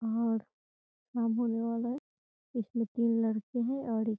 और इसमें तीन लड़के है और एक --